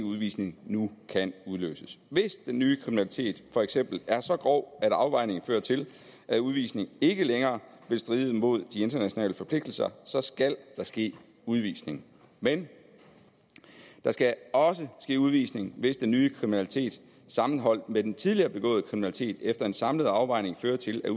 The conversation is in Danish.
udvisning nu kan udløses hvis den nye kriminalitet for eksempel er så grov at afvejningen fører til at udvisning ikke længere vil stride mod de internationale forpligtelser så skal der ske udvisning men der skal også ske udvisning hvis den nye kriminalitet sammenholdt med den tidligere begåede kriminalitet efter en samlet afvejning fører til at